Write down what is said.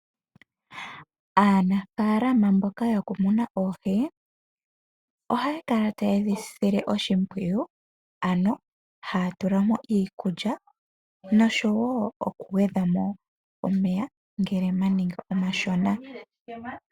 Aanafalama mboka yokumuna oohi, ohaya kala taye dhi sile oshimpwiyu, ano haya tulamo iikulya, noshowo okugwedhamo omeya, ngele ganinga omashona.